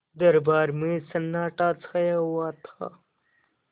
दरबार में सन्नाटा छाया हुआ था